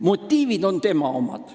Motiivid on tema omad.